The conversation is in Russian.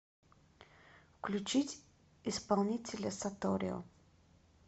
включить исполнителя саторио